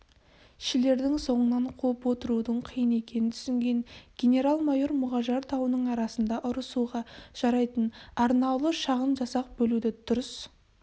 шілердің соңынан қуып отырудың қиын екенін түсінген генерал-майор мұғажар тауының арасында ұрысуға жарайтын арнаулы шағын жасақ бөлуді дұрыс